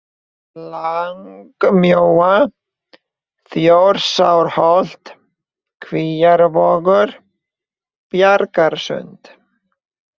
Langamjóa, Þjórsárholt, Kvíavogur, Bjargasund